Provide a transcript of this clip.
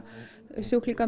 sjúklingar